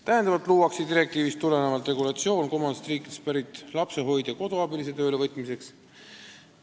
Täiendavalt luuakse direktiivist tulenevalt regulatsioon kolmandatest riikidest pärit lapsehoidja-koduabilise töölevõtmiseks.